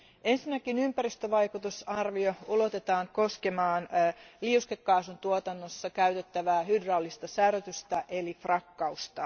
Ensinnäkin ympäristövaikutusarvio ulotetaan koskemaan liuskekaasun tuotannossa käytettävää hydraulista särötystä eli frakkausta.